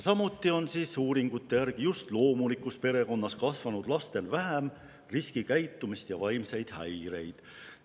Samuti on uuringute järgi nii, et just loomulikus perekonnas kasvanud lastel esineb vähem riskikäitumist ja vaimseid häireid.